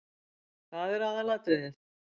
Það er aðalatriðið.